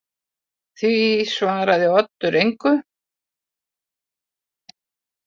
Því svaraði Oddur engu.